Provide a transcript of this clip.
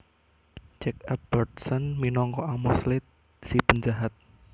Jack Albertson minangka Amos Slade si penjahat